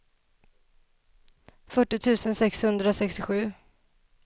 fyrtio tusen sexhundrasextiosju